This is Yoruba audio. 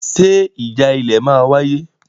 Ṣe ìjà ilẹ̀ máa wáyé?